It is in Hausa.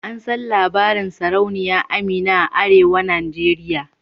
An san labarin sarauniya Amina a arewa nigeria.